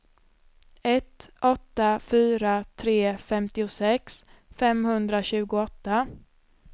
ett åtta fyra tre femtiosex femhundratjugoåtta